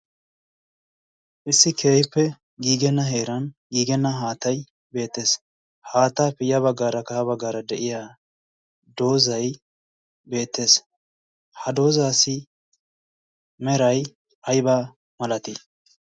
issi keehippe giigenna heeran giigenna haattai beettees haataa piyya baggaara kaha baggaara de'iya doozay beettees. ha doozaasi meray aybaa malatii?